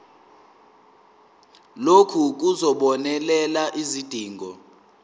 lokhu kuzobonelela izidingo